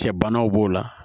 Cɛ banaw b'o la